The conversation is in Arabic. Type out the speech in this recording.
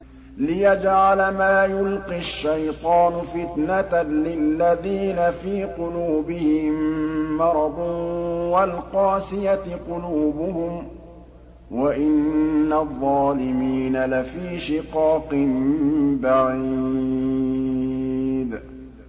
لِّيَجْعَلَ مَا يُلْقِي الشَّيْطَانُ فِتْنَةً لِّلَّذِينَ فِي قُلُوبِهِم مَّرَضٌ وَالْقَاسِيَةِ قُلُوبُهُمْ ۗ وَإِنَّ الظَّالِمِينَ لَفِي شِقَاقٍ بَعِيدٍ